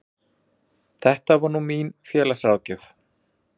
Þetta er nú mín félagsráðgjöf.